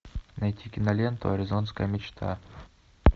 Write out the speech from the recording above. найти киноленту аризонская мечта